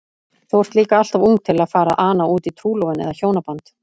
Þú ert líka alltof ung til að fara að ana útí trúlofun eða hjónaband.